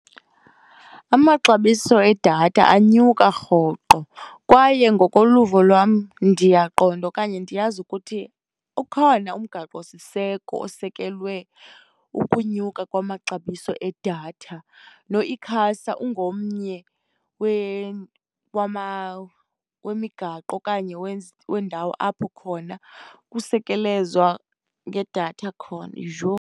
Amaxabiso edatha anyuka rhoqo, kwaye ngokoluvo lwam ndiyaqonda okanye ndiyazi ukuthi ukhona umgaqo siseko osekelwe ukunyuka kwamaxabiso edatha, noICASA ungomnye wemigaqo okanye wendawo apho khona kusekelezwa ngedatha khona. Yho!